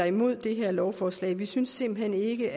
imod det her lovforslag vi synes simpelt hen ikke